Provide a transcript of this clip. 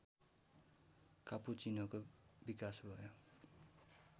कापुचिनोको विकास भयो